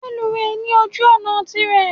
Reluwe ní ojú òná tirě